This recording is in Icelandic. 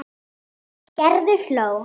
Gerður hló.